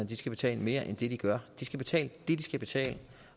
de skal betale mere end det de gør de skal betale det de skal betale